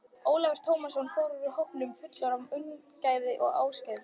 Ólafur Tómasson fór fyrir hópnum fullur af ungæðislegri ákefð.